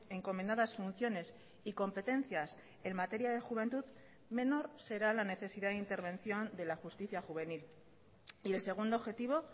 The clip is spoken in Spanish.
encomendadas funciones y competencias en materia de juventud menor será la necesidad de intervención de la justicia juvenil y el segundo objetivo